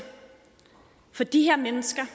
for de her mennesker